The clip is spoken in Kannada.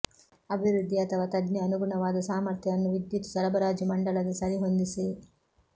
ಅಭಿವೃದ್ಧಿ ಅಥವಾ ತಜ್ಞ ಅನುಗುಣವಾದ ಸಾಮರ್ಥ್ಯವನ್ನು ವಿದ್ಯುತ್ ಸರಬರಾಜು ಮಂಡಲದ ಸರಿಹೊಂದಿಸಿ